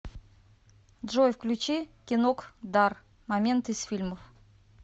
джой включи кинокдар моменты из фильмов